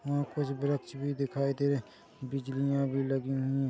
यहां कुछ वृक्ष भी दिखाई दे रहे है बिजलिया भी लगी हुई है।